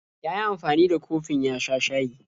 Ya yi amfani da kofin ya sha shayi.